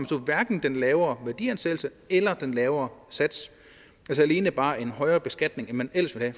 så hverken den lavere værdiansættelse eller den lavere sats alene bare en højere beskatning end man ellers havde